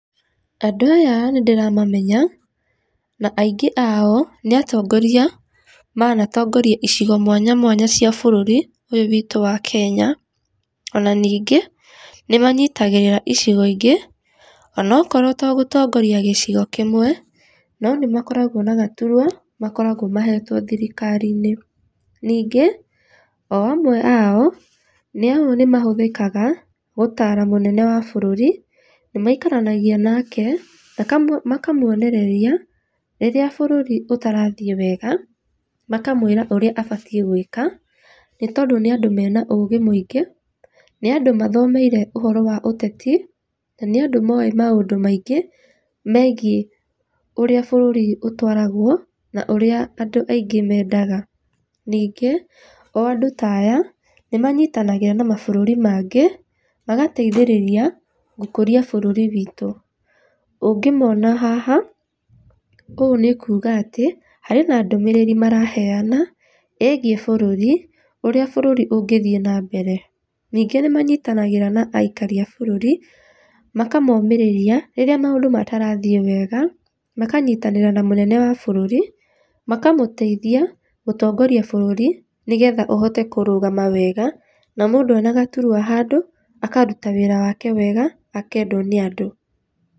Andũ aya nĩ ndĩramamenya, na aingĩ ao nĩ atongoria manatongoria icigo mwanya mwanya cia bũrũri ũyũ witũ wa Kenya ona ningĩ, nĩ manyitagĩrĩra icigo ingĩ ona okorwo to gũtongoria gĩcigo kĩmwe, no nĩ makoragwo na gaturwa makoragwo mahetwo thirikari-inĩ. Ningĩ o amwe ao, nĩ amu nĩ mahũthĩkaga gũtara mũnene wa bũrũri, nĩ maikaranagia nake, makamwonereria rĩrĩa bũrũri ũtarathĩe wega, makamwĩra ũrĩa abatĩe gũĩka nĩ tondũ nĩ andũ mena ũgĩ mũingĩ, nĩ andũ mathomeire ũhoro wa ũteti na nĩ andũ moĩ maũndũ maingĩ megĩe ũrĩa bũrũri ũtwaragwo na ũrĩa andũ aingĩ mendaga. Ningĩ, o andũ ta aya, nĩ manyitanagĩra na mabũrũri mangĩ magateithĩrĩra gũkũria bũrũri witũ. Ũngĩmona haha, ũũ nĩ kuga atĩ, harĩ na ndũmĩrĩri maraheana, ĩgĩe bũrũri ũrĩa bũrũri ũngĩthĩe na mbere, ningĩ nĩmanyitanagĩra na aikari a bũrũri makamomĩrĩria rĩrĩa maũndũ matarathĩe wega, makanyitanĩra na mũnene wa bũrũri makamũteithia gũtongoria bũrũri nĩgetha ũhote kũrũgama wega, na mũndũ ena gaturwa handũ akaruta wĩra wake wega akendwo nĩ andũ.